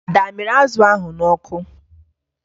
Ada a mịrị azụ ahụ n'ọkụ?